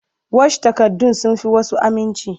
Wash takardun sun fi wasu aminci.